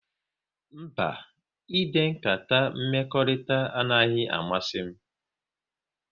Mba, ide nkata mmekọrịta anaghị amasị m